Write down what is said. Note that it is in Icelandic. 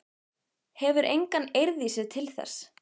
Hefur enga eirð í sér til þess.